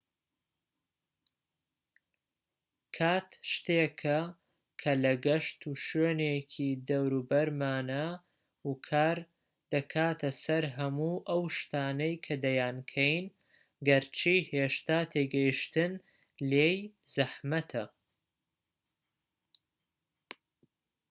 کات شتێکە کە لە گشت شوێنێکی دەوروبەرمانە و کار دەکاتە سەر هەموو ئەو شتانەی کە دەیانکەین گەرچی هێشتا تێگەیشتن لێی زەحمەتە